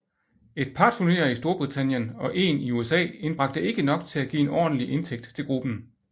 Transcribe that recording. Et par turneer i Storbritannien og én i USA indbragte ikke nok til at give en ordentlig indtægt til gruppen